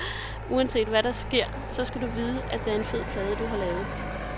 Uanset hvad der sker, så skal du vide, at det er en fed plade, du har lavet.